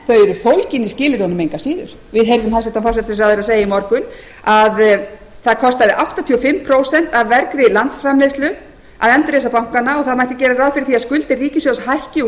fólgin í skilyrðin engu að síður við heyrðum hæstvirtur forsætisráðherra segja í morgun að það kostaði áttatíu og fimm prósent af vergri landsframleiðslu að endurreisa bankana og það mætti gera ráð fyrir því að skuldir ríkissjóðs hækki úr